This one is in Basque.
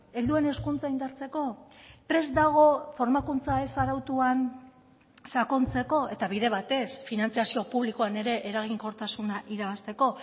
helduen hezkuntza indartzeko prest dago formakuntza ez arautuan sakontzeko eta bide batez finantzazio publikoan ere eraginkortasuna irabazteko